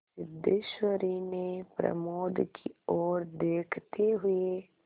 सिद्धेश्वरी ने प्रमोद की ओर देखते हुए